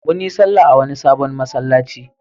Mun yi sallah a wani sabon masallaci.